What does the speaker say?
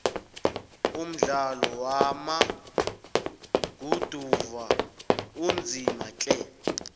umdlalo wama guduva unzima tle